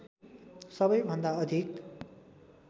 सबै भन्दा अधिक